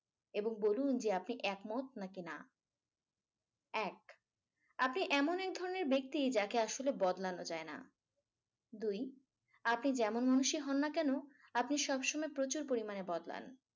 এবং বলুন যে আপনি একমত নাকি না। এক আপনি এমন এক ধরনের ব্যক্তি যাকে আসলে বদলানো যায় না। দুই আপনি যেমন মানুষেই হন না কেন আপনি সবসময় প্রচুর পরিমাণে বদলান।